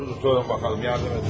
Dur, durun bakalım, yardım edin.